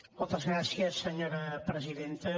moltes gràcies senyora presidenta